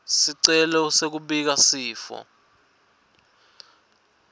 sicelo sekubika sifo